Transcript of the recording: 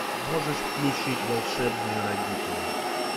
можешь включить волшебные родители